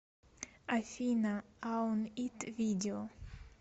афина аун ит видео